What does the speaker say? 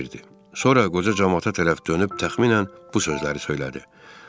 Sonra qoca camaata tərəf dönüb təxminən bu sözləri söylədi: